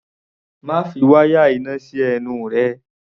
Má fi wáyà iná sí ẹnu rẹ!